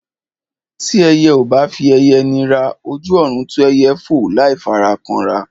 Tí ẹyẹ ò bá fi ẹyẹ nira, ojú ọ̀run tó ẹyẹ fò láì fara kanra.